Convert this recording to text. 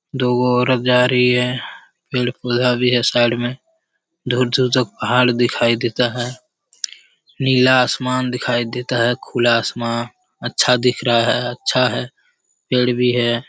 दुगो औरत जा रही है पेड़-पौधा भी है साइड में दूर-दूर तक पहाड़ दिखाई देता है नीला आसमान दिखाई देता है खुला आसमान अच्छा दिख रहा है अच्छा है पेड़ भी है।